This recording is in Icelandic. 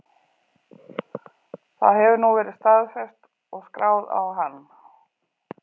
Það hefur nú verið staðfest og skráð á hann.